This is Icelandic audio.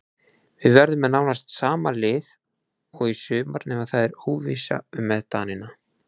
Við verðum með nánast sama lið og í sumar nema það er óvissa með Danina.